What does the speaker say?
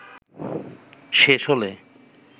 শেষ হলে